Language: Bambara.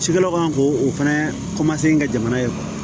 Cikɛlaw ka kan k'o o fɛnɛ kɛ jamana ye